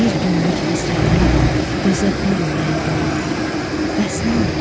Bir günlük həsrətimə dözə bilməyən gülüm, bəs nə oldu?